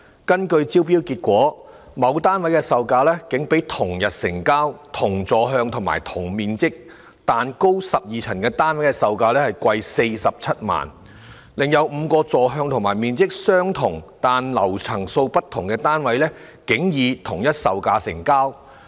根據招標結果，某單位的售價竟比同日成交、同座向及同面積但高12層的單位的售價貴47萬元，另有5個座向和面積相同但層數不同的單位竟以同一售價成交。